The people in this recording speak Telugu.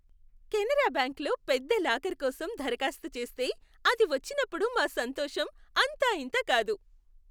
కెనరా బ్యాంకులో పెద్ద లాకర్ కోసం దరఖాస్తు చేస్తే అది వచ్చినప్పుడు మా సంతోషం అంతా ఇంతా కాదు.